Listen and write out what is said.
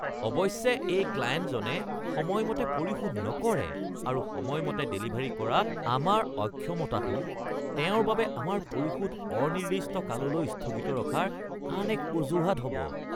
অৱশ্যে, এই ক্লায়েণ্টজনে সময়মতে পৰিশোধ নকৰে আৰু সময়মতে ডেলিভাৰী কৰাত আমাৰ অক্ষমতাটো তেওঁৰ বাবে আমাৰ পৰিশোধ অনিৰ্দিষ্ট কাললৈ স্থগিত ৰখাৰ আন এক অজুহাত হ'ব। (বি.ইউ. হেড)